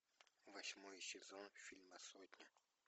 восьмой сезон фильма сотня